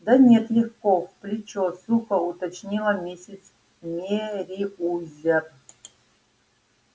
да нет легко в плечо сухо уточнила миссис мерриуэзер